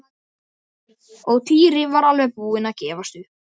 Og Týri var alveg búinn að gefast upp.